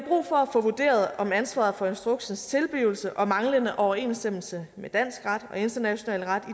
få vurderet om ansvaret for instruksens tilblivelse og manglende overensstemmelse med dansk ret og international ret